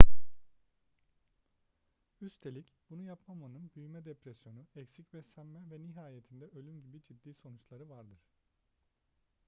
üstelik bunu yapmamanın büyüme depresyonu eksik beslenme ve nihayetinde ölüm gibi ciddi sonuçları vardır